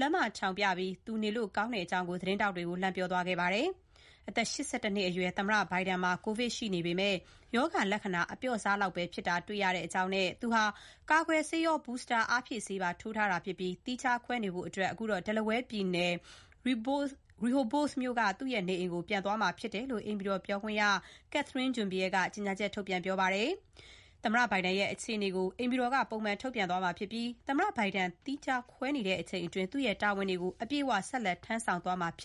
လက်မထောင်ပြီး သူနေလို့ ကောင်းကြောင်း သတင်းထောက်တွေကို လှမ်းပြောခဲ့ပါတယ်။ အသက် ၈၁ နှစ်အရွယ် သမ္မတဘိုင်ဒန်မှာ ကိုဗစ်ရှိပေမယ့် ရောဂါလက္ခဏာအပျော့စားပဲ တွေ့ရကြောင်း၊ သူက ကာကွယ်ဆေးရော booster အားဖြည့်ဆေးပါထိုးထားကြောင်းနဲ့ သီးခြားခွဲနေဖို့ Delaware ပြည်နယ် Rehoboth မြို့က သူ့နေအိမ်ကို ပြန်သွားတာမှာ ဖြစ်ကြောင်း အိမ်ဖြူတော်ပြောခွင့်ရ Karine Jean-Pierre က ကြေညာချက်ထုတ်ပြန်ပြောဆိုပါတယ်။ သမ္မတဘိုင်ဒန်ရဲ့ အခြေအနေကို အိမ်ဖြူတော်က ပုံမှန်ထုတ်ပြန်မှာ ဖြစ်ပြီး သမ္မတဘိုင်ဒန် သီးခြားခွဲနေချိန်တွင်း သူ့ရဲ့ တာဝန်တွေကို အပြည့်အဝ ဆက်လက်ထမ်းဆောင်သွားမှာ ဖြစ်